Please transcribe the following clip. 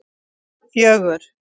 fjögur